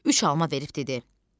Üç alma verib dedi: